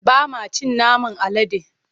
Ba ma cin naman alade.